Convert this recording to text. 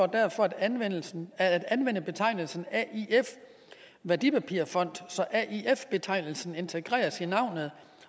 derfor at anvende at anvende betegnelsen aif værdipapirfond så aif betegnelsen integreres i navnet